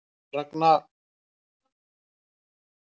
Ragna fær sterkan mótherja í Sviss